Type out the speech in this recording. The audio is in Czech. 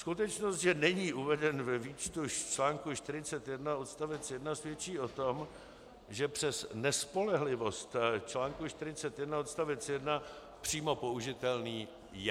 Skutečnost, že není uveden ve výčtu článku 41 odstavec 1, svědčí o tom, že přes nespolehlivost článku 41 odstavec 1 přímo použitelný je.